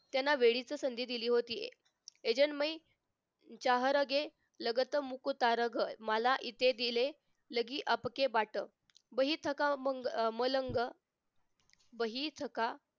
त्यांना वेळीच संधी दिली होती अजन्मयी शहारगे लगत मुकू तारग मला इथे दिले लगी आपकी वाट वही ठिकाण मग मलंग वही थका